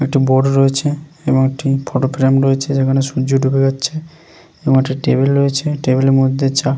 একটা বোর্ড রয়েছে এবং একটি ফটো ফ্রেম রয়েছে যেখানে সূর্য ডুবে যাচ্ছে এবং একটা টেবিল রয়েছে টেবিলের মধ্যে চা--